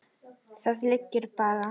Það liggur bara.